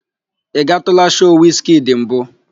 Ị gatụụla shoo Wiz kidi mbụ?